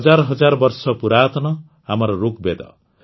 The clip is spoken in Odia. ହଜାର ହଜାର ବର୍ଷ ପୁରାତନ ଆମର ଋଗବେଦ